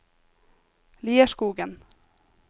Lierskogen